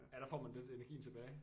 Ja der får man virkelig energien tilbage